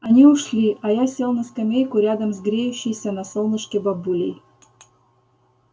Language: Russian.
они ушли а я сел на скамейку рядом с греющейся на солнышке бабулей